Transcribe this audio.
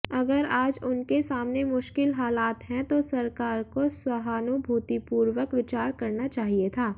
अगर आज उनके सामने मुश्किल हालात हैं तो सरकार को सहानुभूतिपूर्वक विचार करना चाहिए था